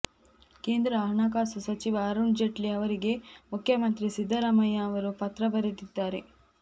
ಕೇಂದ್ರ ಹಣಕಾಸು ಸಚಿವ ಅರುಣ್ ಜೇಟ್ಲಿ ಅವರಿಗೆ ಮುಖ್ಯಮಂತ್ರಿ ಸಿದ್ದರಾಮಯ್ಯ ಅವರು ಪತ್ರ ಬರೆದಿದ್ದಾರೆ